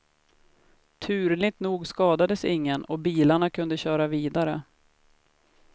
Turligt nog skadades ingen och bilarna kunde köra vidare.